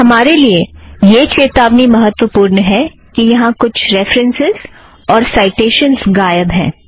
हमारे लिए यह चेतावनी महत्त्वपुर्ण है कि यहाँ कुछ रेफ़रन्सस् और साइटेशनस गायब हैं